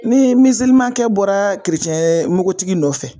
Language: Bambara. Ni kɛ bɔra n bogotigi nɔ fɛ.